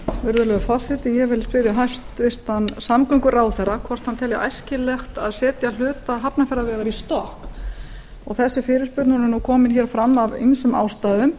virðulegi forseti ég vil spyrja hæstvirtan samgönguráðherra hvort hann telji æskilegt að setja hluta hafnarfjarðarvegar í stokk þessi fyrirspurn er nú komin hér fram af ýmsum ástæðum